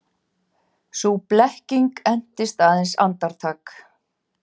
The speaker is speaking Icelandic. Sú blekking entist aðeins andartak.